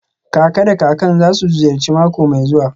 Kaka da kakan za su ziyarci mako mai zuwa.